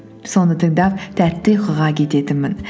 соны тыңдап тәтті ұйқыға кететінмін